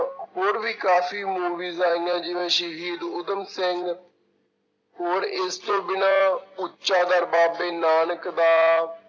ਹੋਰ ਵੀ ਕਾਫ਼ੀ movies ਆਈਆਂ ਜਿਵੇਂ ਸ਼ਹੀਦ ਊਧਮ ਸਿੰਘ ਹੋਰ ਇਸ ਤੋਂ ਬਿਨਾਂ ਉੱਚਾ ਦਰ ਬਾਬੇ ਨਾਨਕ ਦਾ